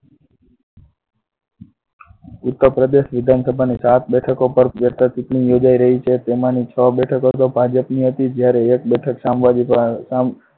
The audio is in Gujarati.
ઉત્તરપ્રદેશ વિધાનસભાની સાત બેઠકો પર પેટા ચુંટણી યોજાઈ રહી છે જેમાંની છ બેઠકો તો ભાજપની હતી જયારે એક બેઠક સમાજવાદી અર